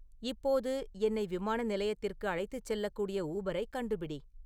இப்போது என்னை விமான நிலையத்திற்கு அழைத்துச் செல்லக்கூடிய ஊபரைக் கண்டுபிடி